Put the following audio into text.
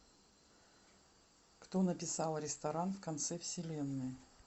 кто написал ресторан в конце вселенной